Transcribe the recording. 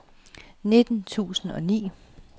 nitten tusind og ni